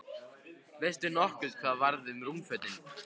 Veistu nokkuð hvað varð um rúmfötin?